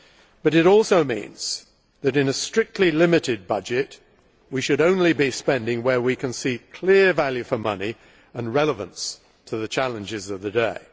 But it also means that, in a strictly limited budget, we should only be spending where we can see clear value for money and relevance to the challenges of the day.